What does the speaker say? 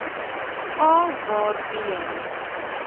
a waar b